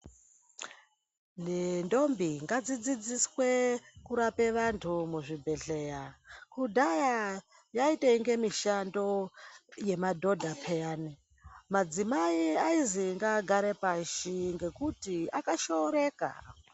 Nendombi ngadzidziswe kurapa vantu muzvibhendleya. Kudhaya yaitoinge mishando yema dhodha peyani. Madzimai aizi ngaagare pashi ngekuti akashooreka.